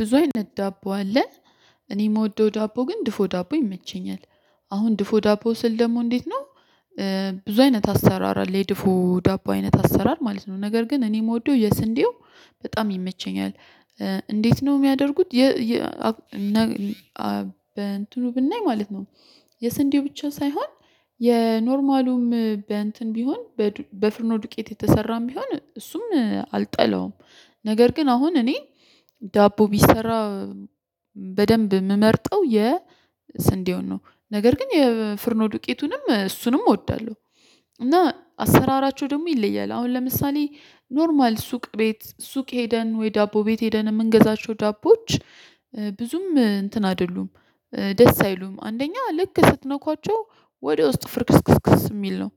ብዙ አይነት ዳቦ አለ። እኔ የምወደው ዳቦ ግን ድፎ ዳቦ ይመቸኛል። አሁን ድፎ ዳቦ ስል ደግሞ እንዴት ነው ብዙ አይነት አሰራር አለ። የድፉ ዳቦ አይነት አሰራር ማለት ነው። ነገር ግን እኔ የምወደው የስንዴው በጣም ይመቸኛል። እንዴት ነው የሚያደርጉት በእንትኑ ብናይ ማለት ነው፣ የስንዴ ብቻ ሳይሆን የኖርማሉም በእንትን ቢሆን በፍርኖ ዱቄት የተሰራም ቢሆን እሱም አልጠላውም ነገር ግን አሁን እኔ ዳቦ ቢሰራ በደንብ የምመርጠው የስንዴውን ነው። ነገር ግን የፍርኖ ዱቄቱንም እሱንም እወዳለሁ እና አሰራራቸው ደግሞ ይለያል። አሁን ለምሳሌ ኖርማል ሱቅ ቤት ሱቅ ሄደን ወይ ዳቦ ቤት ሄደን የምንገዛቸው ዳቦዎች ብዙም እንትን አይደሉም፣ ደስ አይሉም። አንደኛ ልክ ስትነኳቸው ወደ ውስጥ ፍርክስክስክስ የሚል ነው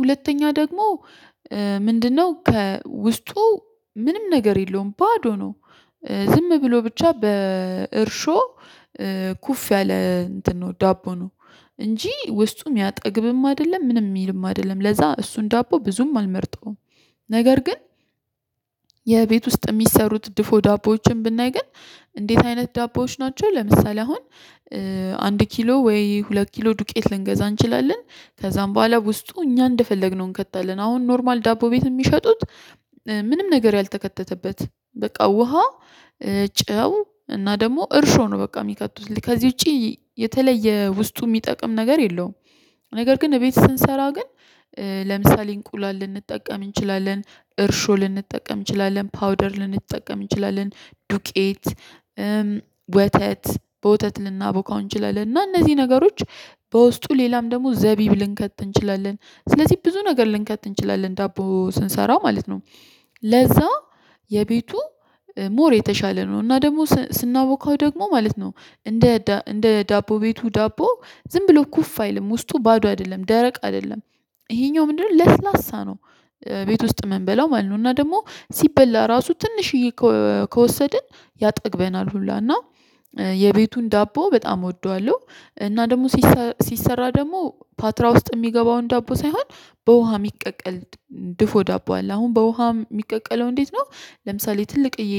ሁለተኛ ደግሞ ምንድነው ከውስጡ ምንም ነገር የለውም ባዶ ነው ዝም ብሎ ብቻ በእርሾ ኩፍ ያለ እንትን ነው ዳቦ ነው እንጂ ውስጡ የሚያጠግብም አይደለም ምንም የሚልም አይደለም ለዛ እሱን ዳቦ ብዙም አልመርጠውም ነገር ግን የቤት ውስጥ የሚሰሩት ድፎ ዳቦዎችን ብናይ ግን እንዴት አይነት ዳቦዎች ናቸው ለምሳሌ አሁን አንድ ኪሎ ወይ ሁለት ኪሎ ዱቄት ልንገዛ እንችላለን ከዛም በኋላ ውስጡ እኛ እንደፈለግነው እንከታለን አሁን ኖርማል ዳቦ ቤት የሚሸጡት ምንም ነገር ያልተከተተበት በቃ ውሃ ጨው እና ደግሞ እርሾ ነው በቃ የሚከቱት ከዚህ ውጪ የተለየ ውስጡ የሚጠቅም ነገር የለውም ነገር ግን እቤት ስንሰራ ግን ለምሳሌ እንቁላል ልንጠቀም እንችላለን እርሾ ልንጠቀም እንችላለን ፓውደር ልንጠቀም እንችላለን ዱቄት ወተት በወተት ልናቦካው እንችላለን እና እነዚህ ነገሮች በውስጡ ሌላም ደግሞ ዘቢብ ልንከት እንችላለን ስለዚህ ብዙ ነገር ልንከት እንችላለን ዳቦ ስንሰራ ማለት ነው ለዛ የቤቱ ሞር የተሻለ ነው እና ደግሞ ስናወካው ደግሞ ማለት ነው እንደ እንደ ዳቦ ቤቱ ዳቦ ዝም ብሎ ኩፍ አይልም ውስጡ ባዶ አይደለም፣ ደረቅ አይደለም። ይሄኛው ምንድነው ለስላሳ ነው። ቤት ውስጥ ይምንበላው ማለት ነው እና ደግሞ ሲበላ ራሱ ትንሽዬ ከወሰድን ያጠግበናል ሁላ እና የቤቱን ዳቦ በጣም እወደዋለሁ እና ደግሞ ሲሰራ ደግሞ ፓትራ ውስጥ የሚገባውን ዳቦ ሳይሆን በውሃ የሚቀቀል ድፎ ዳቦ አለ አሁን በውሃ የሚቀቀለው እንዴት ነው ለምሳሌ ትልቅዬ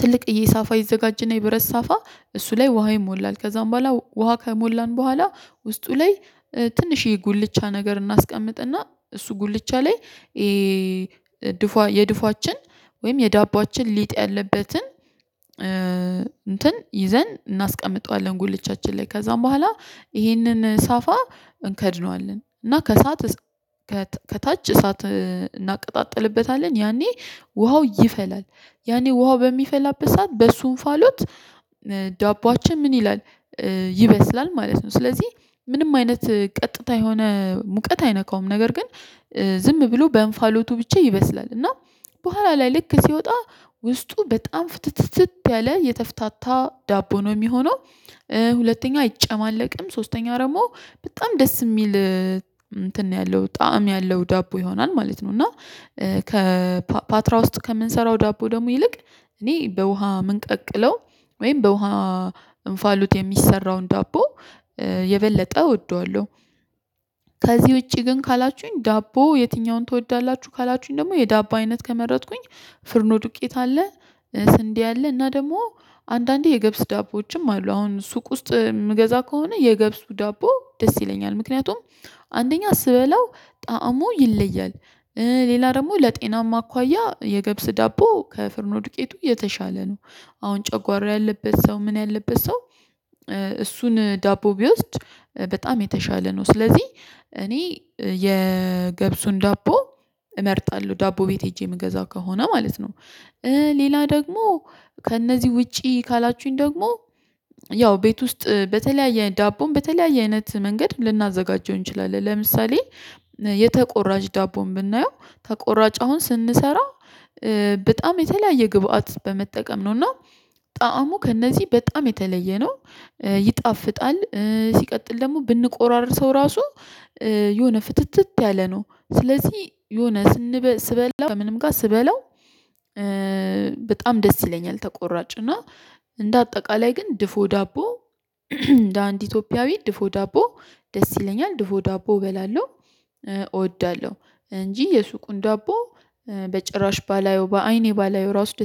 ትልቅዬ ሳፋ ይዘጋጅና የብረት ሳፋ፣ እሱ ላይ ውሃ ይሞላል ከዛም በኋላ ውሃ ከሞላን በኋላ ውስጡ ላይ ትንሽ የጉልቻ ነገር እናስቀምጥና እሱ ጉልቻ ላይ የድፏ የድፏችን ወይም የዳቦአችን ሊጥ ያለበትን እንትን ይዘን እናስቀምጠዋለን ጉልቻችን ላይ ከዛም በኋላ ይሄንን ሳፋ እንከድነዋለን እና ከሰአት ከታች እሳት እናቀጣጥልበታለን ያኔ ውሃው ይፈላል ያኔ ውሃው በሚፈላበት ሰዓት በሱ እንፋሎት ዳቦአችን ምን ይላል ይበስላል ማለት ነው። ስለዚህ ምንም አይነት ቀጥታ የሆነ ሙቀት አይነካውም ነገር ግን ዝም ብሎ በእንፋሎቱ ብቻ ይበስላል እና በኋላ ላይ ልክ ሲወጣ ውስጡ በጣም ፍትትትት ያለ የተፍታታ ዳቦ ነው የሚሆነው ሁለተኛ አይጨማለቅም ሶስተኛ ደግሞ በጣም ደስ የሚል እንትን ያለው ጣዕም ያለው ዳቦ ይሆናል ማለት ነው እና ከፓትራ ውስጥ ከምንሰራው ዳቦ ደግሞ ይልቅ እኔ በውሃ የምንቀቅለው ወይም በውሃ እንፋሉት የሚሰራውን ዳቦ የበለጠ እወደዋለሁ። ከዚህ ውጪ ግን ካላችሁኝ ዳቦ የትኛውን ትወዳላችሁ ካላችሁኝ ደግሞ የዳቦ አይነት ከመረጥኩኝ፣ ፍርኖ ዱቄት አለ፣ ስንዴ አለ እና ደግሞ አንዳንዴ የገብስ ዳቦዎችም አሉ። አሁን ሱቅ ውስጥ የምገዛ ከሆነ የገብሱ ዳቦ ደስ ይለኛል። ምክንያቱም አንደኛ ስበላው ጣዕሙ ይለያል። ሌላ ደግሞ ለጤናማ አኳያ የገብስ ዳቦ ከፍርኖ ዱቄቱ የተሻለ ነው። አሁን ጨጓሮ ያለበት ሰው ምን ያለበት ሰው እሱን ዳቦ ቢወስድ በጣም የተሻለ ነው። ስለዚህ እኔ የገብሱን ዳቦ እመርጣለሁ። ዳቦ ቤት ሄጄ የምገዛ ከሆነ ማለት ነው። ሌላ ደግሞ ከእነዚህ ውጪ ካላችሁኝ ደግሞ ያው ቤት ውስጥ በተለያየ ዳቦን በተለያየ አይነት መንገድ ልናዘጋጀው እንችላለን። ለምሳሌ የተቆራጭ ዳቦም ብናየው፣ ተቆራጭ አሁን ስንሰራ በጣም የተለያየ ግብአት በመጠቀም ነው እና፣ ጣዕሙ ከእነዚህ በጣም የተለየ ነው። ይጣፍጣል ሲቀጥል ደግሞ ብንቆራርሰው ራሱ የሆነ ፍትትት ያለ ነው። ስለዚህ የሆነ ስንበላ ከምንም ጋር ስበላው በጣም ደስ ይለኛል ተቆራጭ እና እንደ አጠቃላይ ግን ድፎ ዳቦ እንደ አንድ ኢትዮጵያዊ ድፎ ዳቦ ደስ ይለኛል። ድፎ ዳቦ እበላለሁ፣ እወዳለሁ እንጂ የሱቁን ዳቦ በጭራሽ ባላየው በአይኔ ባላየው ራሱ